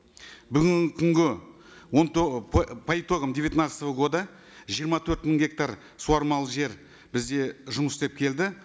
бүгінгі күнге он по итогам девятнадцатого года жиырма төрт мың гектар суармалы жер бізде жұмыс істеп келді